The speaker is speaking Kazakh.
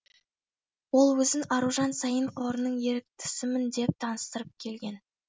ол өзін аружан саин қорының еріктісімін деп таныстырып келген